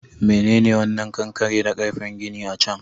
Menene wannan kankare da ƙarfen gini a can?